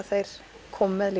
þeir koma með